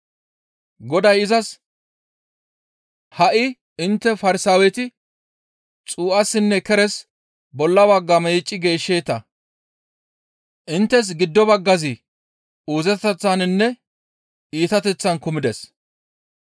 Goday izas, «Ha7i intte Farsaaweti xuu7assinne keres bolla bagga meecci geeshsheeta; inttes giddo baggazi uuzeteththaninne iitateththan kumides.